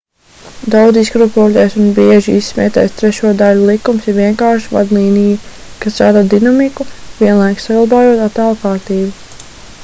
daudz izkropļotais un bieži izsmietais trešo daļu likums ir vienkārša vadlīnija kas rada dinamiku vienlaikus saglabājot attēla kārtību